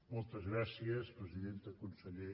moltes gràcies presidenta conseller